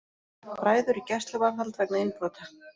Bræður í gæsluvarðhald vegna innbrota